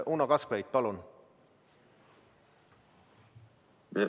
Uno Kaskpeit, palun!